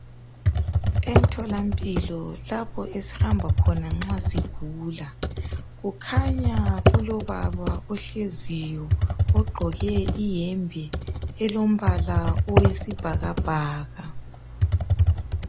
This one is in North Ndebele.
emtholampilo lapho esihamba khona nxa sigula kukhanya kulobaba ohleziyo ogqoke iyembe elombala owesibhakabhaka